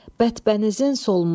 Bədbənizin solmuş.